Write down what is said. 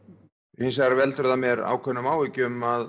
hins vegar veldur það mér ákveðnum áhyggjum að